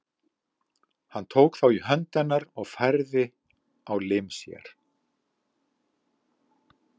Hann tók þá í hönd hennar og færði á lim sér.